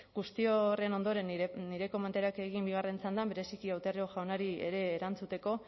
guzti horren ondoren nire komentarioak egin bigarren txandan bereziki otero jaunari ere erantzuteko